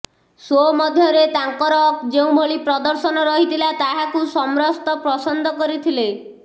show ମଧ୍ୟରେ ତାଙ୍କର ଯେଉଁଭଳି ପ୍ରଦର୍ଶନ ରହିଥିଲା ତାହାକୁ ସମ୍ରସ୍ତ ପସନ୍ଦ କରିଥିଲେ